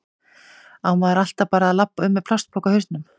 Á maður alltaf bara að labba um með plastpoka á hausnum?